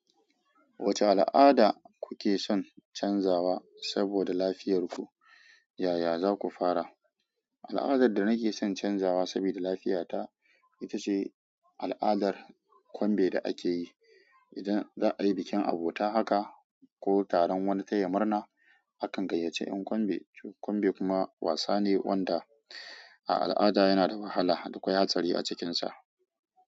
Wacce al'ada kuke son canzawa saboda lafiyarku, yaya za ku fara? Al'adar da nake son canzawa sabida lafiyata ita ce al'adar kwambe da akeyi. Idan za a yi bikin abota haka ko taron wani tayi murna, akan gayyace yan kwambe. Kwambe kuma wasa ne wanda a al'ada yana da wahala da ƙwai hatsari a cikinsa.